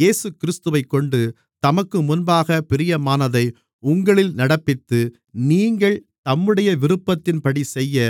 இயேசுகிறிஸ்துவைக்கொண்டு தமக்குமுன்பாகப் பிரியமானதை உங்களில் நடப்பித்து நீங்கள் தம்முடைய விருப்பத்தின்படிசெய்ய